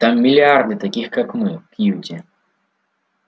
там миллиарды таких как мы кьюти